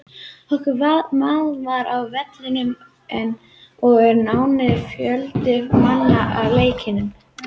Okkar maður var á vellinum og er nánari umfjöllun um leikinn á leiðinni.